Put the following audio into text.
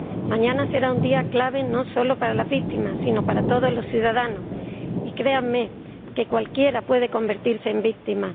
Mañana será un día clave no solo para las víctimas sino también para todos los ciudadanos, y créanme que cualquiera puede convertirse en víctima